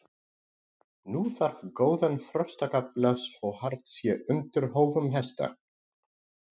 Nú þarf góðan frostakafla svo hart sé undir hófum hesta.